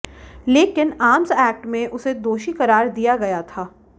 लेकिन arms act में उसे दोषी करार दिया गया था